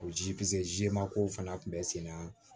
O ji ze ma kow fana kun be senna